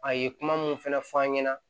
A ye kuma mun fɛnɛ fɔ an ɲɛna